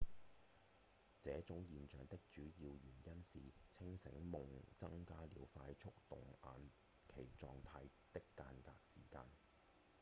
這種現象的主要原因是清醒夢增加了快速動眼期狀態的間隔時間